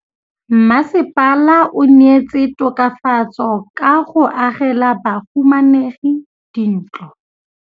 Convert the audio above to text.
Mmasepala o neetse tokafatsô ka go agela bahumanegi dintlo.